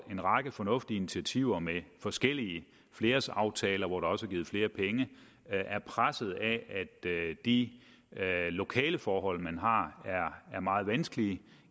en række fornuftige initiativer med forskellige flerårsaftaler hvor der også er givet flere penge er presset af at de lokaleforhold man har er meget vanskelige